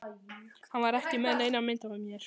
Hann var ekki með neina mynd af mér